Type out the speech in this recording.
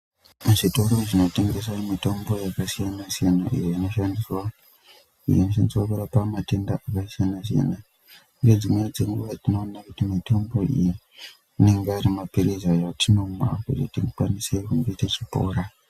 Muzvitoro zvinotengesa mitombo yakasiyana siyana iyo iñoshandiswa lurapa matenda akasiyana siyana nedzimweni dzenguva tinoona kuti mitombo iyi anenge ari mapirizi atinomwa kuti tikwanise kunge techipora.